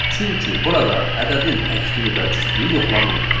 Çünki burada ədədin təkliyi və cütlüyü yoxlanılmır.